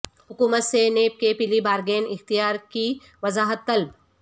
حکومت سے نیب کے پلی بارگین اختیار کی وضاحت طلب